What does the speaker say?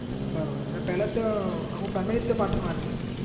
બરોબર ને પેલા ત્યાં આખું family ત્યો પાટણમાં રહતું